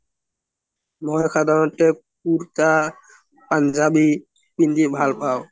মই সাধাৰণতে কুৰ্তা পুন্জবি পিন্ধি ভাল পাও